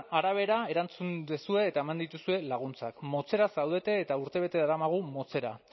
arabera erantzun duzue eta eman dituzue laguntzak motzera zaudete eta urtebete daramagu motzera